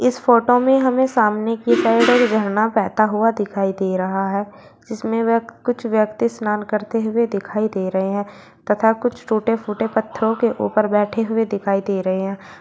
इस फोटो में हमें सामने की साइड एक झरना बहता हुआ दिखाई दे रहा है जिसमें वह कुछ व्यक्ति स्नान करते हुए दिखाई दे रहे हैं तथा कुछ टूटे फूटे पत्थरों के ऊपर बैठे हुए दिखाई दे रहे हैं।